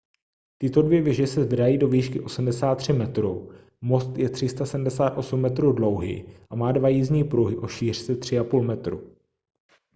tyto dvě věže se zvedají do výšky 83 metrů most je 378 metrů dlouhý a má dva jízdní pruhy o šířce 3,5 metru